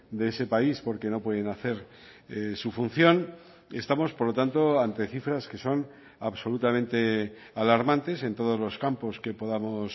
de ese país porque no pueden hacer su función estamos por lo tanto ante cifras que son absolutamente alarmantes en todos los campos que podamos